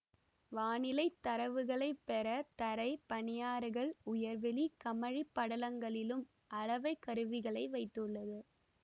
வானிலை தரவுகளைப் பெற தரை பனியாறுகள் உயர்வெளி கமழி படலங்களிலும் அளவை கருவிகளை வைத்துள்ளது